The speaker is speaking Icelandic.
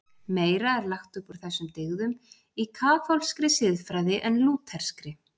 Meira er lagt upp úr þessum dyggðum í kaþólskri siðfræði en lútherskri.